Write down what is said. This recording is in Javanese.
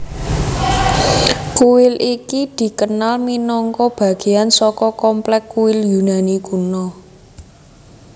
Kuil iki dikenal minangka bageyan saka komplek kuil Yunani kuno